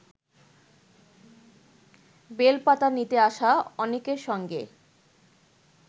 বেলপাতা নিতে আসা অনেকের সঙ্গে